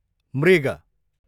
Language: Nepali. मृग